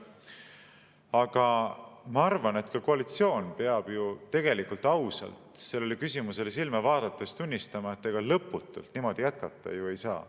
Aga ma arvan, et ka koalitsioon peab ju tegelikult ausalt sellele küsimusele silma vaadates tunnistama, et ega lõputult niimoodi jätkata ei saa.